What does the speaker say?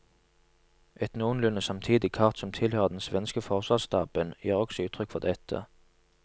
Et noenlunde samtidig kart som tilhører den svenske forsvarsstaben, gir også uttrykk for dette.